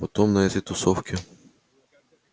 потом на этой тусовке